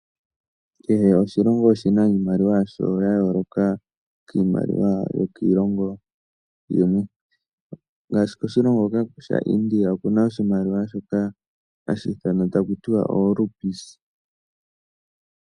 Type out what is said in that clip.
Kehe oshilongo oshina iimaliwa ya yooloka kiimaliwa yokiilongo iikwawo, ngaashi oshilongo India oshina iimaliwa hayi ithanwa oluupis.